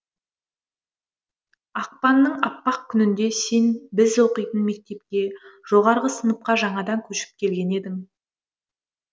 ақпанның аппақ күнінде сен біз оқитын мектепке жоғарғы сыныпқа жаңадан көшіп келген едің